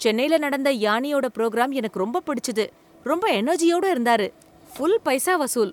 சென்னைல நடந்த யான்னியோட ப்ரோகிராம் எனக்கு ரொம்ப பிடிச்சுது. ரொம்ப எனர்ஜியோட இருந்தாரு, ஃபுல் பைசா வசூல்.